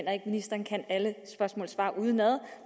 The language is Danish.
at ministeren kan alle spørgsmål og svar udenad